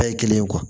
Bɛɛ ye kelen ye